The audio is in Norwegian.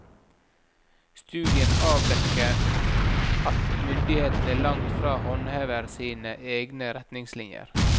Studien avdekke at myndighetene langt fra håndhever sine egne retningslinjer.